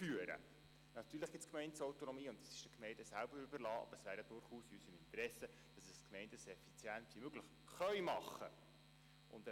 Natürlich gibt es die Gemeindeautonomie, und es ist den Gemeinden selbst überlassen, aber es wäre durchaus in unserem Interesse, wenn die Gemeinden ihre Verwaltung so effizient wie möglich führen könnten.